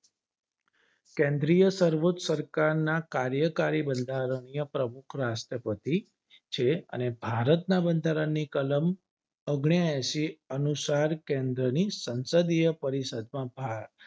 કેન્દ્રીય સર્વોચ્ચ સરકારના કાર્યકારી બંધારણીય પ્રમુખ રાષ્ટ્રપતિ છે અને ભારત ના બંધારણ ની કલમ ઓગ્નએસી કલમ સરકાર કેન્દ્રની સંસદીય પરિષદ માં આ